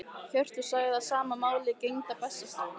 Hjörtur sagði að sama máli gegndi á Bessastöðum.